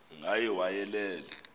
ngaye wayelele ephumle